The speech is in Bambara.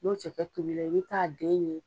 N'o cɛkɛ tobila i bɛ t'a den ɲini